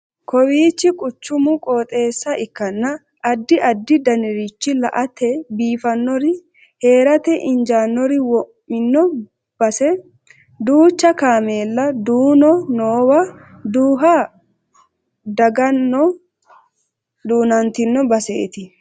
Kawiichi quchumu qooxeessa ikkanna addi addi danirichi la'ate biifannori heerate injaanori wo'mino base. Duucha kaamela duuno noowa duuvha dagano duunantino baseeti.